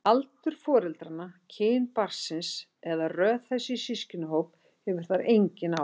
Aldur foreldranna, kyn barnsins eða röð þess í systkinahóp hefur þar engin áhrif.